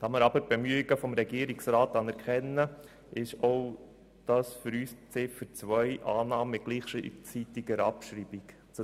Da wir die Bemühungen des Regierungsrats anerkennen, nehmen wir Ziffer 2 mit gleichzeitiger Abschreibung an.